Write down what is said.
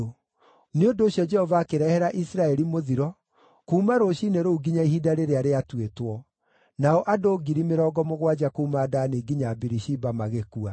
Nĩ ũndũ ũcio Jehova akĩrehera Isiraeli mũthiro kuuma rũciinĩ rũu nginya ihinda rĩrĩa rĩatuĩtwo; nao andũ ngiri mĩrongo mũgwanja kuuma Dani nginya Birishiba magĩkua.